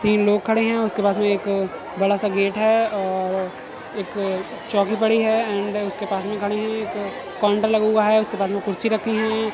तीन लोग खड़े हैं। उसके पास में एक बड़ा सा गेट है और एक चौकी पड़ी है एंड उसके पास में खड़े हैं। एक काउंटर लगा हुआ है। उसके बाजू में कुर्सी रखी हुई हैं।